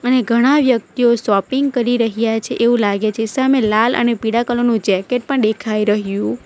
અને ઘણા વ્યક્ટિઓ શોપિંગ કરી રહ્યા છે એવું લાગે છે સામે લાલ અને પીળા કલર નું જેકેટ પણ ડેખાઈ રહ્યું--